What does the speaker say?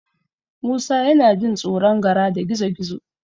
Musa yana jin tsoron Gara da Gizo-gizo.